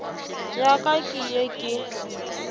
ya ka ke ye ke